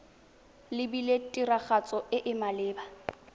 lebilwe tiragatso e e maleba